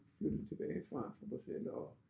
Flyttede tilbage fra fra Bruxelles og